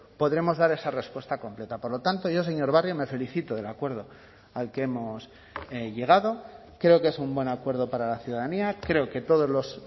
podremos dar esa respuesta completa por lo tanto yo señor barrio me felicito del acuerdo al que hemos llegado creo que es un buen acuerdo para la ciudadanía creo que todos los